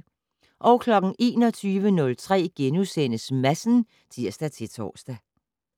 21:03: Madsen *(tir-tor)